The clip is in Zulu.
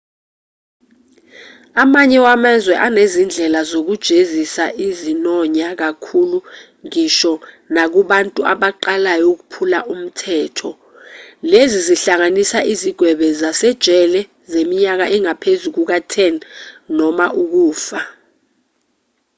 amanye amazwe anezindlela zokujezisa ezinonya kakhulu ngisho nakubantu abaqalayo ukuphula umthetho lezi zingahlanganisa izigwebo zasejele zeminyaka engaphezu kuka-10 noma ukufa